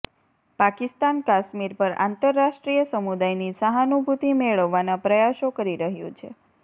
પાકિસ્તાન કાશ્મીર પર આંતરરાષ્ટ્રીય સમુદાયની સહાનુભૂતિ મેળવવાના પ્રયાસો કરી રહ્યું છે